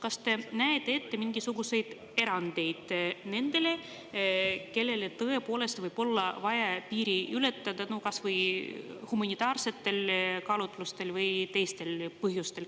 Kas te näete ette mingisuguseid erandeid nendele, kellel tõepoolest võib olla vaja piiri ületada kas humanitaarsetel kaalutlustel või teistel põhjustel?